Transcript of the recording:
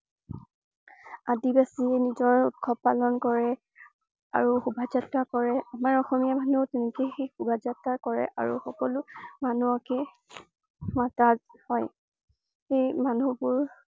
আদিবাসীয়ে নিজৰ উৎসৱ পালন কৰে, আৰু শোভাযাত্ৰা কৰে আমাৰ অসমীয়া মানুহেও সেই তেনেকৈয়ে শোভাযাত্ৰা কৰে আৰু সকলো মানুহকে মতা হয়। সেই মানুহবোৰ